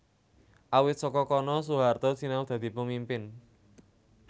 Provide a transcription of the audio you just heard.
Awit saka kono Soehaarto sinau dadi pemimpin